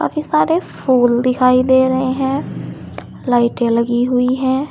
काफी सारे फूल दिखाई दे रहे हैं लाइटें लगी हुई है।